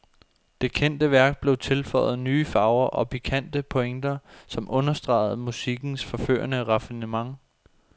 Det kendte værk blev tilføjet nye farver og pikante pointer, som understregede musikkens forførende raffinement.